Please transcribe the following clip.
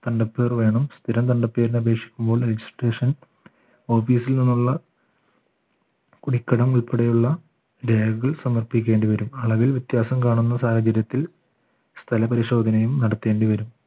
തണ്ടപ്പേർ വേണം സ്ഥിരം തണ്ടപ്പേർന് അപേക്ഷിക്കുമ്പോൾ registration office ൽ നിന്നുള്ള കുടിക്കടം ഉൾപ്പെടെയുള്ള രേഖകൾ സമർപ്പിക്കേണ്ടിവരും അളവിൽ വ്യത്യാസം കാണുന്ന സാഹചര്യത്തിൽ സ്ഥല പരിശോധനയും നടത്തേണ്ടി വരും